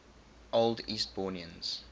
old eastbournians